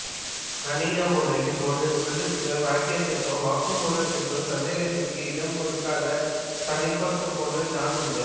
கணித உலகில் ஒரு சொல்லிற்கோ வாக்கியத்திற்கோ வாக்கு மூலத்திற்கோ சந்தேகத்திற்கு இடம் கொடுக்காத தனிப்பட்ட பொருள் தான் உண்டு